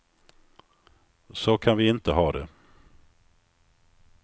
Så kan vi inte ha det.